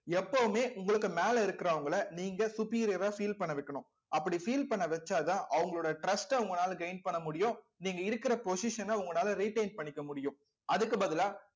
எப்பவுமே உங்களுக்கு மேல இருக்கிறவங்களை நீங்க superior அ feel பண்ண வைக்கணும் அப்படி feel பண்ண வச்சாதான் அவங்களோட trust அ உங்களால gain பண்ண முடியும். நீங்க இருக்கிற position அ உங்களால retain பண்ணிக்க முடியும். அதுக்கு பதிலா